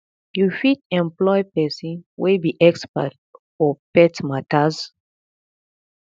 you fit employ persin wey be expert for pet matters